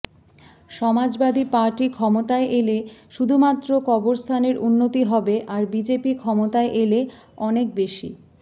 Samajwadi party ক্ষমতায় এলে শুধুমাত্র কবরস্থানের উন্নতি হবে আর বিজেপি ক্ষমতায় এলে অনেক বেশি